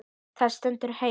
Það stendur heima.